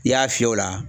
I y'a fiyɛ o la